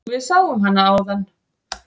Við sáum hana áðan.